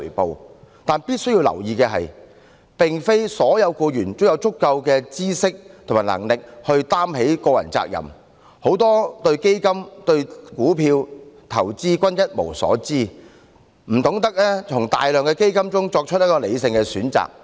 不過，必須注意的是，並非所有僱員均有足夠的知識及能力負起個人責任，很多人對基金、股票和投資一無所知，不懂從大量基金中作出理性選擇。